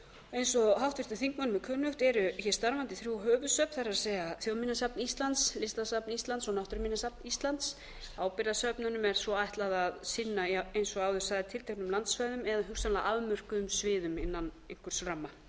eins og háttvirtum þingmönnum er kunnugt eru hér starfandi þrjú höfuðsöfn það er þjóðminjasafn íslands listasafn íslands og náttúruminjasafn íslands ábyrgðarsöfnunum er svo ætlað að sinna eins og áður sagði tilteknum landsvæðum eða hugsanlega afmörkuðum sviðum innan einhvers ramma